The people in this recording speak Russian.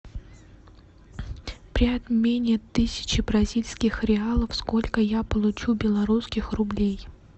при обмене тысячи бразильских реалов сколько я получу белорусских рублей